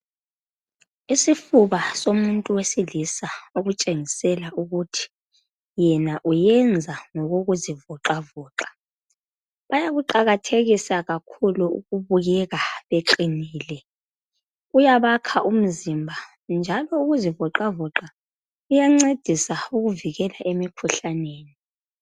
isifuba somuntu wesilisa esitshengisela ukuthi oyena uyenza ngokokuzivoxavoxa bayakuqhakathekisa kakhulu ukubukeka beqhinile kuyabakha imzimba njalo ngokokuzivoxavoxa kuyancedisa ukuvikela emkhuhlaneni